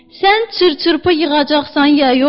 Sən çır-çırpı yığacaqsan ya yox?